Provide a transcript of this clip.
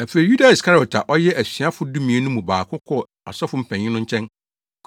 Afei Yuda Iskariot a ɔyɛ asuafo dumien no mu baako kɔɔ asɔfo mpanyin no nkyɛn